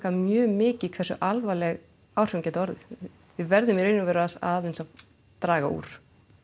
mjög mikið hversu alvarleg áhrifin geta orðið við verðum í raun og veru aðeins að draga úr